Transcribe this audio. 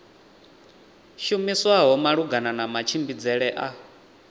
shumiswaho malugana na matshimbidzele a